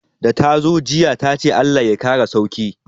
Da tazo jiya tace Allah ya kara sauki